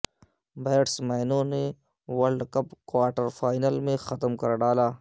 بیٹسمینوں نے world cup quarterfinal میں ختم کر ڈالا